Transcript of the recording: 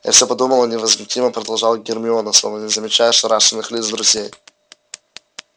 я всё продумала невозмутимо продолжала гермиона словно не замечая ошарашенных лиц друзей